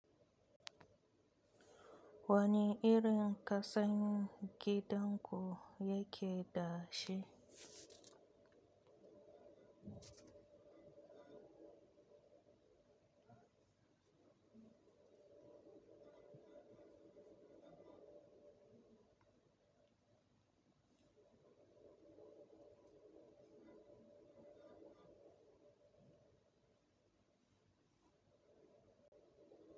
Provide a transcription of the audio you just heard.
Wani irin ƙasan gidan ku yake da shi?